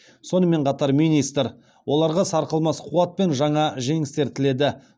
сонымен қатар министр оларға сарқылмас қуат пен жаңа жеңістер тіледі